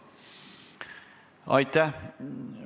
Aitäh!